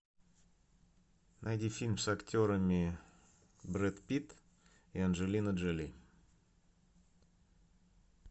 найди фильм с актерами брэд питт и анджелина джоли